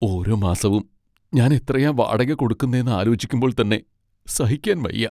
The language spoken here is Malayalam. ഓരോ മാസവും ഞാൻ എത്രയാ വാടക കൊടുക്കുന്നേന്ന് ആലോചിക്കുമ്പോൾ തന്നെ സഹിക്കാന് വയ്യ.